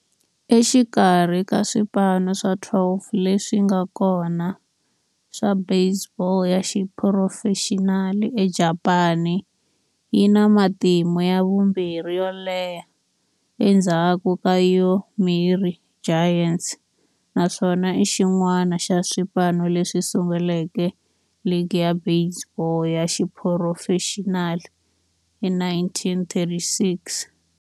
Exikarhi ka swipano swa 12 leswi nga kona swa baseball ya xiphurofexinali eJapani, yi na matimu ya vumbirhi yo leha endzhaku ka Yomiuri Giants, naswona i xin'wana xa swipano leswi sunguleke ligi ya baseball ya xiphurofexinali hi 1936.